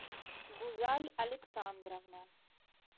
гузаль александровна